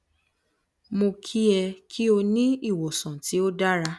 mo ki e ki o ni iwosan ti o dara